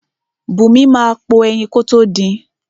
Bùnmi máa po ẹyin kótó din.